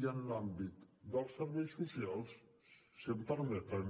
i en l’àmbit dels serveis socials si m’ho permeten